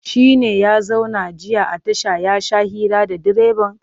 Shi ne ya zauna jiya a tasha ya sha hira da direban?